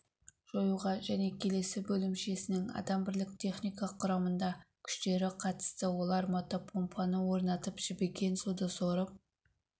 жоюға және бөлімшесінің адам бірлік техника құрамында күштері қатысты олар мотопомпаны орнатып жібіген суды сорып